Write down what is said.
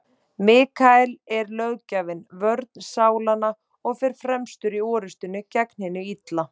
Mikael er löggjafinn, vörn sálanna, og fer fremstur í orrustunni gegn hinu illa.